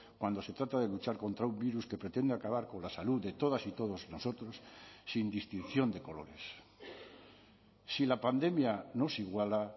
cuando se trata de luchar contra un virus que pretende acabar con la salud de todas y todos nosotros sin distinción de colores si la pandemia nos iguala